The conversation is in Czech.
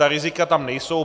Ta rizika tam nejsou.